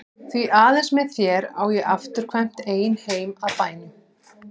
Því aðeins með þér á ég afturkvæmt ein heim að bænum.